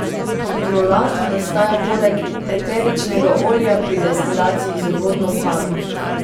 Hidrolat nastaja poleg eteričnega olja pri destilaciji z vodno paro.